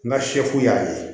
N ka sefu y'a ye